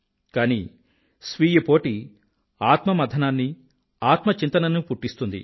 కానీ స్వీయపోటీ ఆత్మమధనాన్నీ ఆత్మ చింతననీ పుట్టిస్తుంది